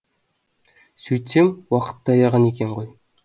сөйтсем уақыт таяған екен ғой